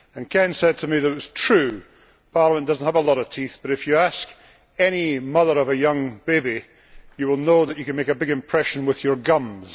Ken said to me that it was true that Parliament did not have a lot of teeth, but, if you asked any mother of a young baby, you would know that you can make a big impression with your gums.